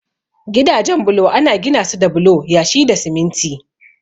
Gidajen bulo ana ginasu da bulo, yashi da siminti.